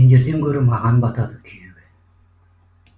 сендерден көрі маған батады күйігі